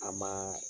A ma